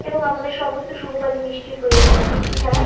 এবং আমাদের সমস্ত শুভ কাজে মিষ্টির প্রয়োজন হয়। মিষ্টি ছাড়া--